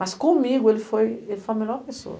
Mas comigo ele foi foi a melhor pessoa.